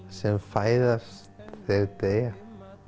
sem fæðast þeir deyja